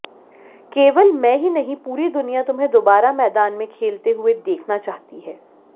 केवल मैं ही नहीं पूरी दुनिया तुम्हें दोबारा मैदान में खेलते हुए देखना चाहती है